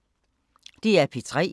DR P3